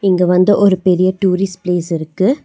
இங்க வந்து ஒரு பெரிய டூரிஸ்ட் பிளேஸ் இருக்கு.